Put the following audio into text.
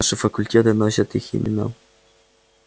наши факультеты носят их имена